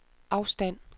afstand